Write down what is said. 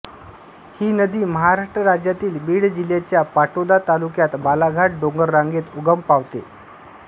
ही नदी महाराष्ट्र राज्यातील बीड जिल्ह्याच्या पाटोदा तालुक्यात बालाघाट डोंगररांगेत उगम पावते